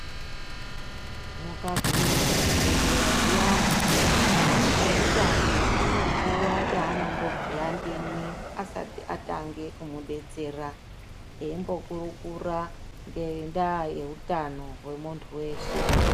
Mukagume kuzvibhedhleya zviyani, eutano anonguwa yeanombobhuya ndimwi, asati atange kumudetsera, eimbokurukura ngendaa yeutano hwemuntu weshe .